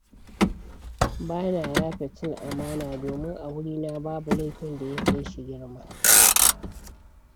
Ba na yafe cin amana, domin a wurina babu laifin da ya kai shi girma.